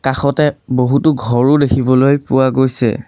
কাষতে বহুতো ঘৰো দেখিবলৈ পোৱা গৈছে।